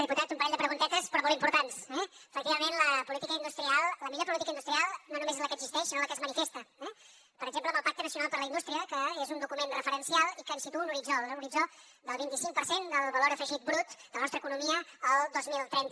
diputat un parell de preguntetes però molt importants eh efectivament la política industrial la millor política industrial no només és la que existeix sinó en la que es manifesta eh per exemple amb el pacte nacional per a la indústria que és un document referencial i que ens situa un horitzó l’horitzó del vint i cinc per cent del valor afegit brut de la nostra economia el dos mil trenta